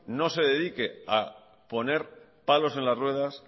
no se dedique a poner palos en las ruedas